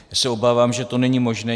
Já se obávám, že to není možné.